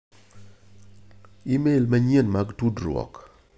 imel manyien mag tudruok.